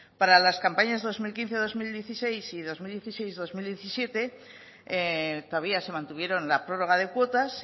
para las campañas dos mil quince dos mil dieciséis y dos mil dieciséis dos mil diecisiete todavía se mantuvieron la prórroga de cuotas